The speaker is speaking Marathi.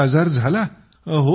संबंधित आजार झाला